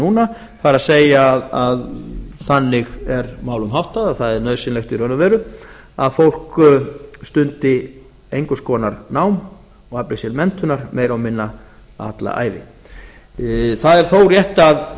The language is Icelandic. núna það er að þannig er málum háttað að það er nauðsynlegt í raun og veru að fólk stundi einhvers konar nám og afli sér menntunar meira og minna alla ævi það er þó rétt að